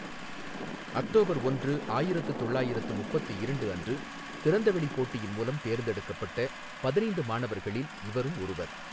October ஒன்று, ஆயிரத்து தொள்ளாயிரத்து முப்பத்து இரண்டு அன்று திறந்தவெளி போட்டியின் மூலம் தேர்ந்தெடுக்கப்பட்ட பதினைந்து மாணவர்களில் இவரும் ஒருவர்.